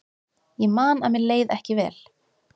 Ég man að mér leið ekki vel.